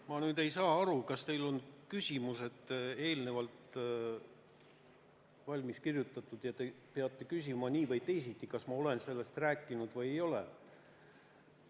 Ma nüüd ei saa aru, kas teil on küsimused eelnevalt valmis kirjutatud ja te peate need küsima nii või teisiti, ükskõik, kas ma olen sellest juba rääkinud või ei ole.